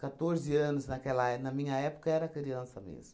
anos naquela é, na minha época, era criança mesmo.